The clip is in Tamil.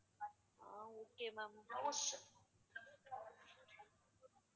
okay ma'am blouse